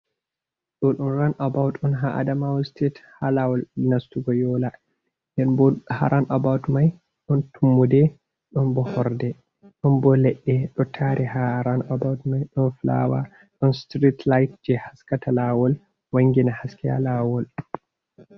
Ɗo ɗon ran abaut, ɗon ha Adama site, ha lawol nastugo yola. Ha ran about mai ɗon tummuɗe, ɗon ɓo horɗe, ɗon ɓo leɗɗe, ɗo tari ha ran abaut MAI, ɗon fulawa, ɗon sitirit lait je haskata lawol, wangina haske ha lawol.